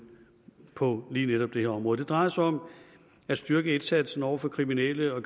på lige netop det her område det drejer sig om at styrke indsatsen over for kriminelle og